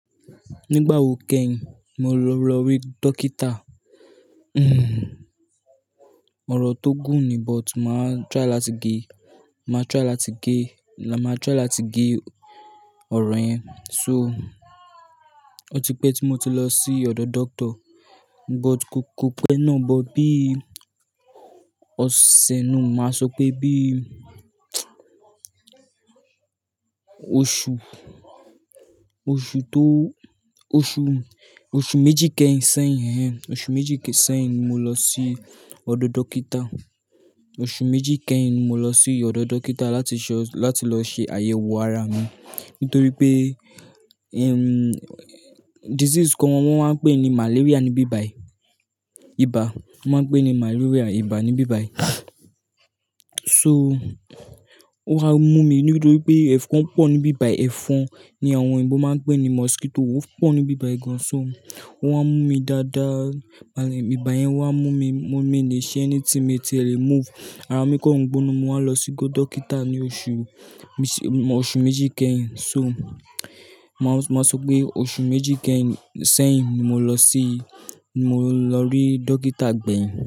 Nígbà wo kẹ́yin mo lọ rí dókítà? Ọ̀rò tó gùn ni, but mà try láti gé, mà try láti gé, mà try láti gé ọ̀rọ̀ yẹn. So, ó ti pẹ́ tí mo ti lọ sí ọ̀dọ̀ doctor but ko, ko pẹ́ náà bọ̀ bí i, ó ṣẹ̀ náà, mà sọ pé bí i oṣù, oṣù tó, oṣù, oṣù méjì kẹ́yìn sẹ́yìn, oṣù méjì kẹ́yìn sẹ́yìn ni mo lọ sí ọ̀dọ̀ dókítà. Oṣù méjì kẹ́yìn ni mo lọ sí ọ̀dọ̀ dókítà láti ṣe, láti lọ ṣe àyẹ̀wò ara mi nítorí pé, ehm, disease kan wọ́n máa ń pè ní malaria níbí ibi, ibà wọ́n máa ń pè ní malaria, ibà níbí bayii. So, ó wa mú mi nítorí pé ẹ̀fọn pọ̀ níbí bayii. Ẹ̀fọn ni àwọn òyìnbó máa ń pè ní mosquito, ó pọ̀ níbí bayii gan. So, ó wa mú mi dáadáa, ibà yẹn wa mú mi, mú mi ní ṣe anything mi ti lè move. Ara mi kọ̀n gbóná, mo wá lọ sígo dókítà ní oṣù, oṣù méjì kẹ́yìn. So, mà sọ pé oṣù méjì kẹ́yìn sẹ́yìn ni mo lọ sí, mo lọ rí dókítà gbẹ̀yìn.